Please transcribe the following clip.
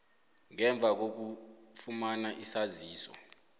ngemva kokufumana isaziso